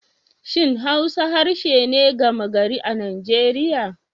Shin Hausa harshe ne gama gari a Najeriya?